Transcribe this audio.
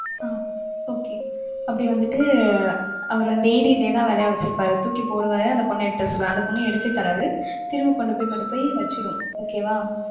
அஹ் okay அப்படி வந்துட்டு அவர் வந்து daily இதேதான் வேலையா வச்சிருப்பாரு. தூக்கி போடுவாரு. அந்த பொண்ணு எடுத்து வர சொல்லுவாரு. அந்த பொண்ணு எடுத்தே தராது. திரும்பி கொண்டு போய் கொண்டு போய் வச்சுடும். okay வா.